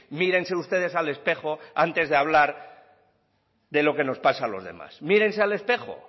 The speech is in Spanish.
mírense ustedes al espejo antes de hablar de lo que nos pasa a los demás mírense al espejo